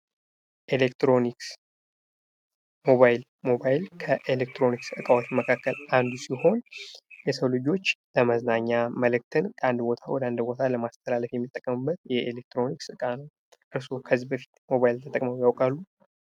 ኤሌክትሮኒክስ ሞባይል፥ ሞባይል ከኤሌክትሮኒክስ እቃዎች መካከል አንዱ ሲሆን የሰው ልጆች ለመዝናኛ መልዕክትን ከአንድ ቦታ ወደሌላ ቦታ ለማስተላለፍ የሚጠቀሙበት የኤሌክትሮኒክስ ዕቃ ነው። እርሶ ከዚህ በፊት ሞባይል ተጠቅመው ያውቃሉ?